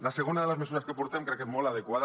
la segona de les mesures que portem crec que és molt adequada